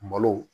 Malo